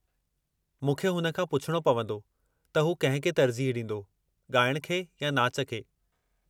मूंखे हुन खां पुछिणो पंवदो त हू कंहिं खे तर्जीह ॾींदो, ॻाइण खे या नाच खे।